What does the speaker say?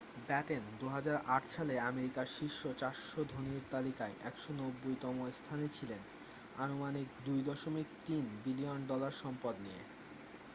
Batten 2008 সালে আমেরিকার শীর্ষ 400 ধনীর তালিকায় 190তম স্থানে ছিলেন আনুমানিক 2.3 বিলিয়ন ডলায় সম্পদ নিয়ে